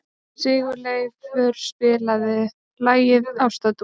Sigurleifur, spilaðu lagið „Ástardúett“.